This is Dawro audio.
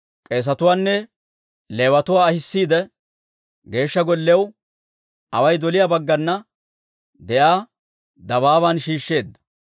K'eesetuwaanne Leewatuwaa ahissiide, Geeshsha Golliyaw away doliyaa baggana de'iyaa dabaaban shiishsheedda.